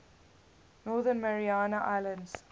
northern mariana islands